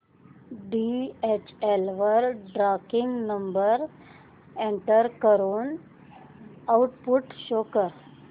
DHL वर tracking number enter करून output show कर